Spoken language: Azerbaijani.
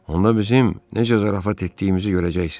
Onda bizim necə zarafat etdiyimizi görəcəksiniz.